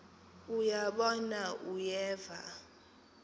uya bona uyeva